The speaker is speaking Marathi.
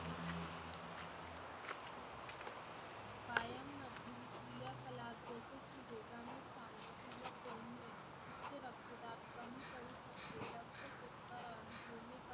पायांमध्ये क्रियाकलाप जसे वेगाने चालणे किंवा बोलणे उच्च रक्तदाब कमी करू शकते रक्त check करणे